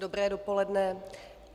Dobré dopoledne.